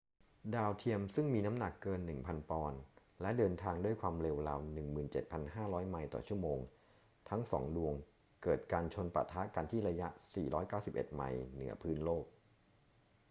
ดาวเทียมซึ่งมีน้ำหนักเกิน 1,000 ปอนด์ และเดินทางด้วยความเร็วราว 17,500 ไมล์ต่อชั่วโมงทั้งสองดวงเกิดการชนปะทะกันที่ระยะ 491 ไมล์เหนือพื้นโลก